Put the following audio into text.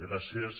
gràcies